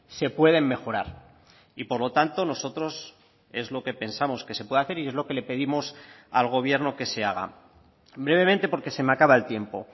se pueden mejorar y por lo tanto nosotros es lo que pensamos que se puede hacer y es lo que le pedimos al gobierno que se haga brevemente porque se me acaba el tiempo